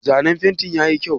Zanen fentin yayi kyau?